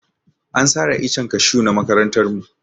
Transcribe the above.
An sare icen kashu na makarantar mu.